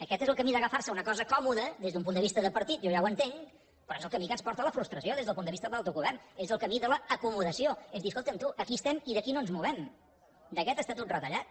aquest és el camí d’agafar se a una cosa còmoda des d’un punt de vista de partit jo ja ho entenc però és el camí que ens porta a la frustració des del punt de vista de l’autogovern és el camí de l’acomodació és dir escolta’m tu aquí estem i d’aquí no ens movem d’aquest estatut retallat